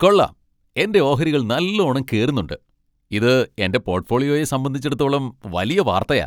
കൊള്ളാം, എന്റെ ഓഹരികൾ നല്ലോണം കേറുന്നുണ്ട്! ഇത് എന്റെ പോർട്ട്ഫോളിയോയെ സംബന്ധിച്ചിടത്തോളം വലിയ വാർത്തയാ.